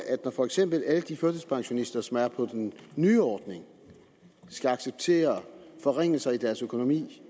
at for eksempel alle de førtidspensionister som er på den nye ordning skal acceptere forringelse i deres økonomi